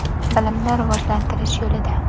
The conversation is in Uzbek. Bilimni rivojlantirish yo‘lida.